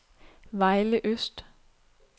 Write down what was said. Vejle Øst